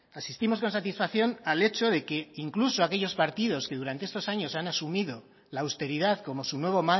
asistimos con satisfacción al hecho de que incluso aquellos partidos que durante estos años han asumido la austeridad como su nuevo